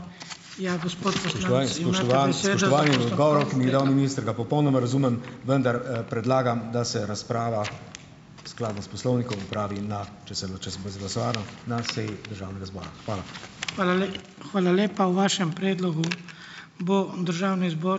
Spoštovani, spoštovan, spoštovani, odgovorov, ki mi jih je dal minister, ga popolnoma razumem, vendar, predlagam, da se razprava skladno s poslovnikom opravi na, če se če se bo izglasovano, na seji državnega zbora. Hvala.